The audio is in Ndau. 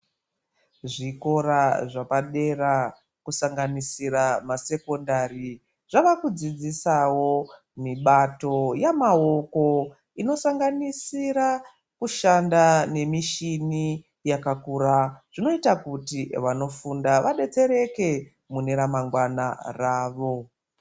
Zvikora zvapadera kusanganisira masekondari zvavakudzidzisawo mibato yemaoko inosanganisira kushanda nemichini yakakura. Zvinoita kuti vanofunda vabetsereke muna ramangwana ravo.